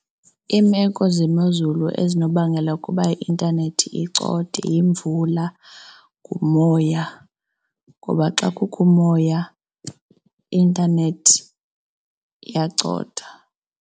Iimeko zemozulu ezinobangela kuba i-intanethi icothe yimvula, ngumoya. Ngoba xa kukho umoya, i-intanethi iyacotha.